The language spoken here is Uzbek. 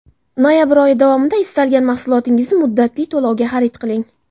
Noyabr oyi davomida istalgan mahsulotingizni muddatli to‘lovga xarid qiling.